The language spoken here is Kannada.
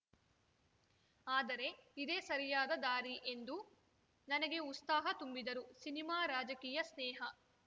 ಆದರೆ ಇದೇ ಸರಿಯಾದ ದಾರಿ ಎಂದು ನನಗೆ ಉಸ್ತಾಹ ತುಂಬಿದರು ಸಿನಿಮಾ ರಾಜಕೀಯ ಸ್ನೇಹ